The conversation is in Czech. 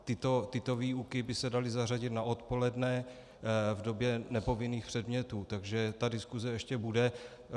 Tyto výuky by se daly zařadit na odpoledne v době nepovinných předmětů, takže ta diskuse ještě bude.